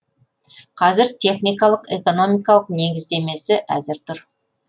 қазір техникалық экономикалық негіздемемесі әзір тұр